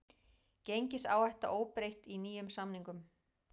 Gengisáhætta óbreytt í nýjum samningum